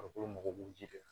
Farikolo mago b'u ji la